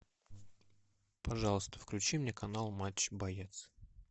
пожалуйста включи мне канал матч боец